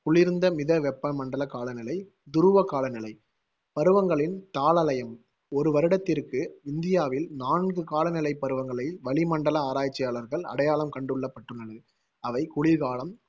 குளிர்ந்த மித வெப்பமண்டல காலநிலை, துருவ காலநிலை பருவங்களின் தாளலயம் ஒரு வருடத்திற்கு இந்தியாவில் நான்கு காலநிலைப் பருவங்களை வளி மண்டல ஆராய்ச்சியாளர்கள் அடையாளம் கண்டுகொள்ளபட்டுள்ளது. அவை குளிர்காலம்,